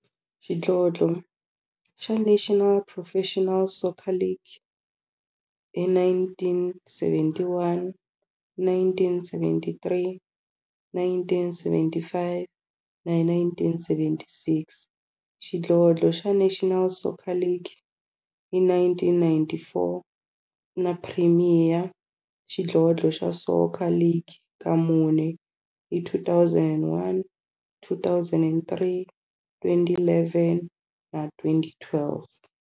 Xidlodlo xa National Professional Soccer League hi 1971, 1973, 1975 na 1976, xidlodlo xa National Soccer League hi 1994, na Premier Xidlodlo xa Soccer League ka mune, hi 2001, 2003, 2011 na 2012.